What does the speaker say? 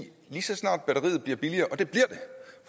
lige så snart batteriet bliver billigere